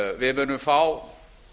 við munum fá